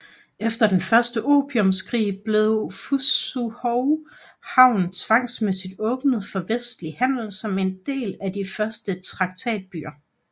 Efter den første opiumskrig blev Fuzhou havn tvangsmæssigr åbnet for vestlig handel som en af de første traktatbyer